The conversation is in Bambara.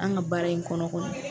An ka baara in kɔnɔ kɔnɔ.